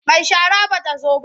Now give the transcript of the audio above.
Mai shara ba ta zo ba.